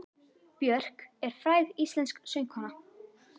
Björk er fræg íslensk söngkona.